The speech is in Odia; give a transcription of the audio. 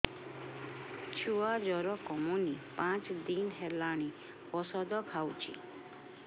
ଛୁଆ ଜର କମୁନି ପାଞ୍ଚ ଦିନ ହେଲାଣି ଔଷଧ ଖାଉଛି